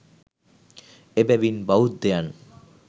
එබැවින් බෞද්ධයන්